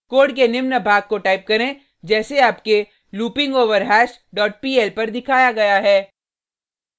code के निम्न भाग को टाइप करें जैसे आपके loopingoverhash dot pl पर दिखाया गया है